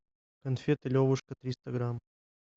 конфеты левушка триста грамм